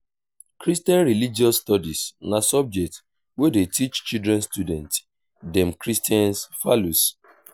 christian religious studies na subject wey dey teach children student dem christian values.